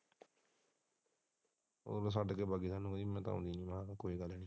ਉਹ ਤੇ ਛੱਡ ਕੇ ਵੱਗ ਜਾਂਦੀ ਹੈ ਮੈਂ ਤੇ ਹੀ ਕਹਿਣਾ ਕੋਈ ਗੱਲ ਨਹੀਂ।